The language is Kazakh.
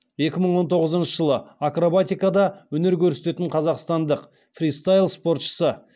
екі мың он тоғызыншы жылы акробатикада өнер көрсететін қазақстандық фристайл спортшысы